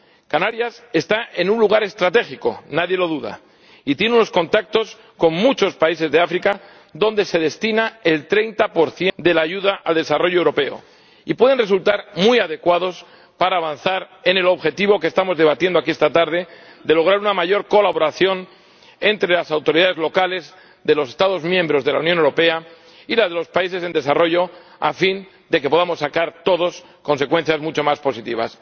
Canarias está en un lugar estratégico —nadie lo duda—, y tiene unos contactos con muchos países de África, a los que se destina el 30 de la ayuda al desarrollo europea, que pueden resultar muy adecuados para avanzar en el objetivo que estamos debatiendo aquí esta tarde de lograr una mayor colaboración entre las autoridades locales de los Estados miembros de la Unión Europea y las de los países en desarrollo, a fin de que podamos sacar todos consecuencias mucho más positivas.